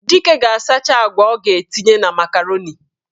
Dike ga-asacha agwa ọ ga-etinye na makaroni.